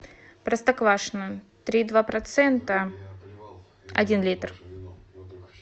простоквашино три и два процента один литр